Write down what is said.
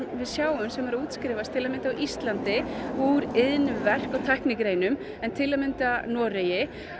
við sjáum sem eru að útskrifast til að mynda á íslandi úr iðnverk og tæknigreinum en til að mynda Noregi